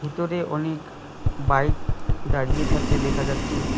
ভিতরে অনেক বাইক দাঁড়িয়ে থাকতে দেখা যাচ্ছে।